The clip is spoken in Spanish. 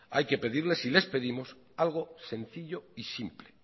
hay que pedirles y les pedimos algo sencillo y simple